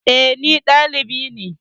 Eh, ɗalibi ne